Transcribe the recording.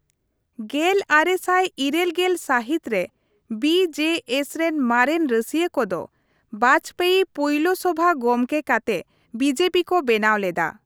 ᱜᱮᱞ ᱟᱨᱮ ᱥᱟᱭ ᱤᱨᱟᱹᱞ ᱜᱮᱞ ᱥᱟᱦᱤᱛ ᱨᱮ ᱵᱤᱹ ᱡᱮᱹ ᱮᱥ ᱨᱮᱱ ᱢᱟᱨᱮᱱ ᱨᱟᱹᱥᱤᱭᱟᱹ ᱠᱚᱫᱚ ᱵᱟᱡᱯᱮᱭᱤ ᱯᱩᱭᱞᱟᱹ ᱥᱚᱵᱷᱟ ᱜᱚᱢᱠᱮ ᱠᱟᱛᱮ ᱵᱤᱡᱮᱯᱤ ᱠᱚ ᱵᱮᱱᱟᱣ ᱞᱮᱫᱟ ᱾ ᱹ